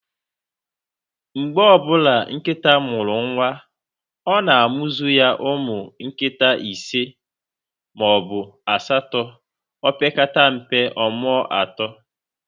Mgbe ọbụla nkịta mụrụ nwa, ọ na-amuzu ụmụ nkịta isi maọbụ asatọ, opekata mpe, ọmụọ atọ